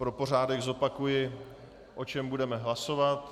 Pro pořádek zopakuji, o čem budeme hlasovat.